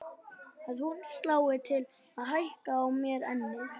Að hún slái til og hækki á mér ennið.